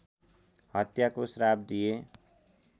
हत्याको श्राप दिए